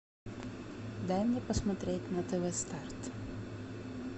дай мне посмотреть на тв старт